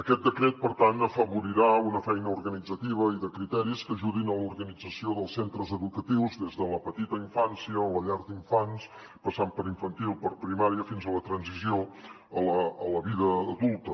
aquest decret per tant afavorirà una feina organitzativa i de criteris que ajudin a l’organització dels centres educatius des de la petita infància o la llar d’infants passant per infantil per primària fins a la transició a la vida adulta